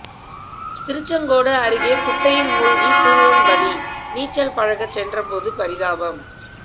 திருச்செங்கோடு அருகே குட்டையில் மூழ்கி சிறுவன் பலி நீச்சல் பழக சென்றபோது பரிதாபம்